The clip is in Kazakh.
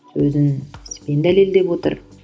сөзін іспен дәлелдеп отыр